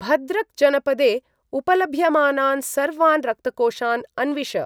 भद्रक् जनपदे उपलभ्यमानान् सर्वान् रक्तकोषान् अन्विष।